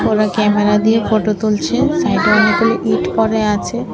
Camera দিয়ে photo তুলছে সাইডে অনেকগুলি ইট পড়ে আছে।